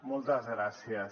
moltes gràcies